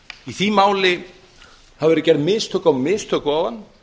í því máli hafa verið gerð mistök á mistök ofan